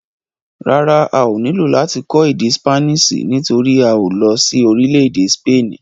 Rárá, a ò nílò láti kọ́ èdè ṣípánísì nítorí a ò lọ sí orílẹ̀-èdè sípènì.